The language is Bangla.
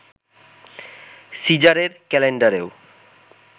সিজারের ক্যালেন্ডারেও